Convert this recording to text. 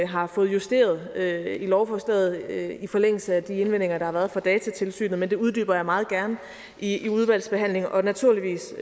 har fået justeret lovforslaget i forlængelse af de indvendinger der har været fra datatilsynet men det uddyber jeg meget gerne i udvalgsbehandlingen og naturligvis